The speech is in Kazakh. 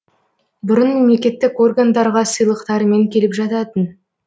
бұрын мемлекеттік органдарға сыйлықтарымен келіп жататын